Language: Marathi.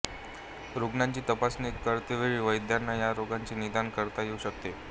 रुग्णाची तपासणी करतेवेळी वैद्यांना ह्या रोगाचे निदान करता येऊ शकते